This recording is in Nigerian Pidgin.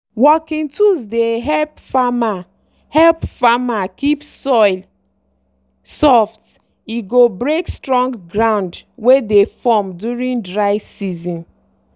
working tools dey help farmer help farmer keep soil soft e go break strong ground wey dey form during dry season.